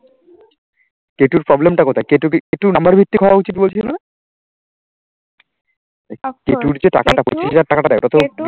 কে two এর problem কোথায়? কে two number ভিত্তি করা উচিত বলছিল না?